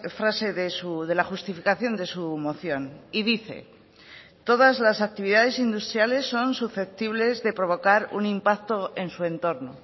frase de la justificación de su moción y dice todas las actividades industriales son susceptibles de provocar un impacto en su entorno